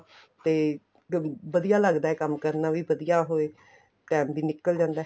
ਤੇ ਵਧੀਆ ਲੱਗਦਾ ਏ ਕੰਮ ਕਰਨਾ ਵੀ ਵਧੀਆ ਹੋਏ time ਵੀ ਨਿੱਕਲ ਜਾਂਦਾ